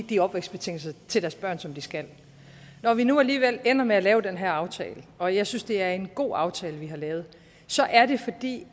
de opvækstbetingelser som de skal når vi nu alligevel ender med at lave den her aftale og jeg synes det er en god aftale vi har lavet er det fordi